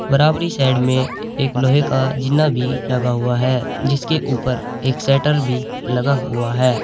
बराबरी साइड में एक लोहे का जीना भी लगा हुआ है जिसके ऊपर एक शटर भी लगा हुआ है।